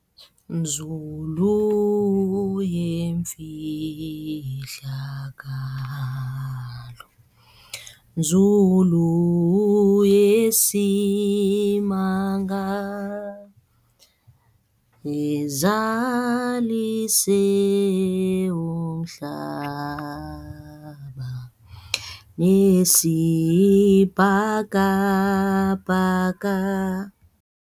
Nzulu yemfihlakalo, nzulu yesimanga ezizalise umhlaba nesibhakabhaka.